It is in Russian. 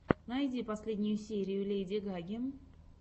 найди последнюю серию леди гаги